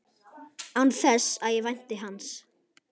Án þess að ég vænti hans.